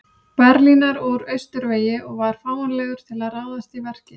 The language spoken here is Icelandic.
Berlínar úr austurvegi og var fáanlegur til að ráðast í verkið.